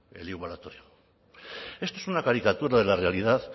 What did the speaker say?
el igualatorio esto es una caricatura de la realidad